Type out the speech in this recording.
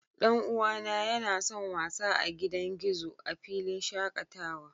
Dan uwana yana son wasa a gidan gizo a filin shakatawa